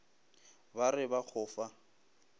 ba re ba go fa